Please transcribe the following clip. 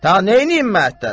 Da neyləyəm məəttəlsən?